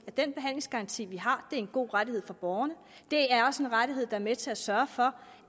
den behandlingsgaranti vi har er en god rettighed for borgerne det er også en rettighed der er med til at sørge for